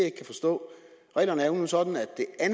ikke kan forstå reglerne er sådan